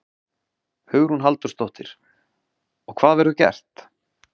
Hugrún Halldórsdóttir: Og hvað verður gert?